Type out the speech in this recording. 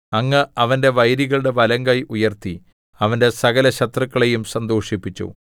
അങ്ങ് അവന്റെ വൈരികളുടെ വലംകൈ ഉയർത്തി അവന്റെ സകലശത്രുക്കളെയും സന്തോഷിപ്പിച്ചു